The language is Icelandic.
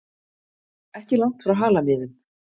Ekki langt frá Halamiðum.